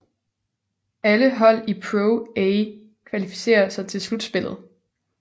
Alle hold i Pro A kvalificerer sig til slutspillet